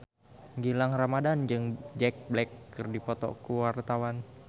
Gilang Ramadan jeung Jack Black keur dipoto ku wartawan